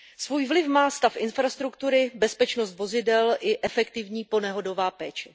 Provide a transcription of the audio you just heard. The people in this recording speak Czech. Svůj vliv má stav infrastruktury, bezpečnost vozidel i efektivní ponehodová péče.